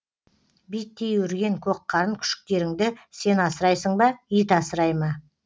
биттей өрген көкқарын күшіктеріңді сен асырайсың ба ит асырай ма